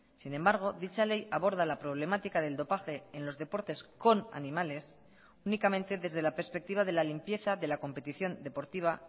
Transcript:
sin embargo dicha ley aborda la problemática del dopaje en los deportes con animales únicamente desde la perspectiva de la limpieza de la competición deportiva